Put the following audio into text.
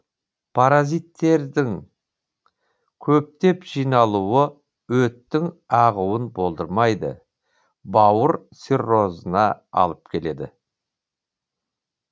паразиттредің көптеп жиналуы өттің ағуын болдырмайды бауыр циррозына алып келеді